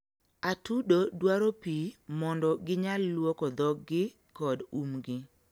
atudo dwaro pii mondo ginyal luoko dhogi kod umgi